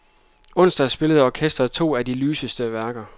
Onsdag spillede orkestret to at de lyseste værker.